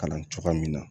Kalan cogoya min na